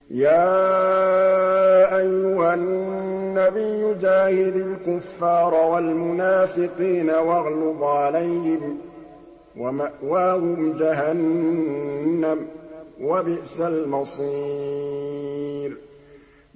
يَا أَيُّهَا النَّبِيُّ جَاهِدِ الْكُفَّارَ وَالْمُنَافِقِينَ وَاغْلُظْ عَلَيْهِمْ ۚ وَمَأْوَاهُمْ جَهَنَّمُ ۖ وَبِئْسَ الْمَصِيرُ